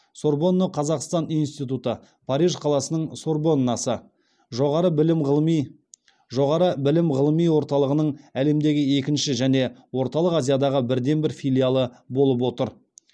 сорбонна қазақстан институты париж қаласының сорбоннасы жоғары білім ғылыми жоғары білім ғылыми орталығының әлемдегі екінші және орталық азиядағы бірден бір филиалы болып отыр